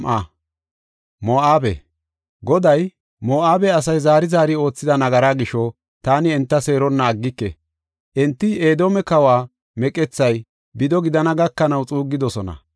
Goday, “Moo7abe asay zaari zaari oothida nagaraa gisho, taani enta seeronna aggike. Enti Edoome kawa meqethay bido gidana gakanaw xuuggidosona.